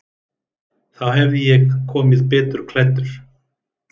Þá hefði ég komið betur klæddur.